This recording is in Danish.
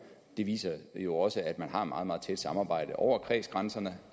de viser jo også at man har et meget meget tæt samarbejde over kredsgrænserne